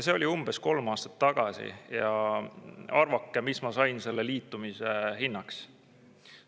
See oli umbes kolm aastat tagasi ja arvake, mis ma sain selle liitumise hinnaks.